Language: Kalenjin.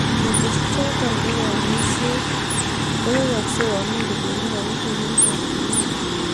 keteshi choto ko kanyuiset koyayagse yomi kodendi karishek eng chokchinet